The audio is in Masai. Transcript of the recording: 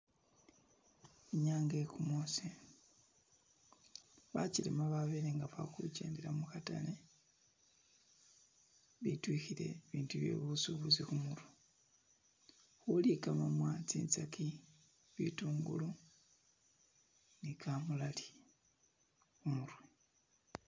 Inyanga ye gumusi bajelema babelenga bali khugendela mukhatale bitwikhile bintu bye busubuzi khumirwe khuli gamamwa. tsinzagi, bitungulu ni kamulali khumirwe.